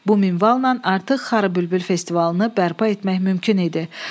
Bu müvanla artıq Xarı bülbül festivalını bərpa etmək mümkün idi.